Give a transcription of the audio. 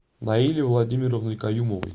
наили владимировны каюмовой